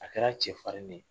A kɛra cɛfarin de ye.